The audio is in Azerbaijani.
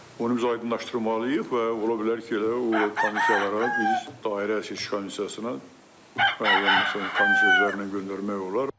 Onu biz aydınlaşdırmalıyıq və ola bilər ki, elə o komissiyalara biz dairə seçki komissiyasına müəyyən məsələn komissiyalarla göndərmək olar.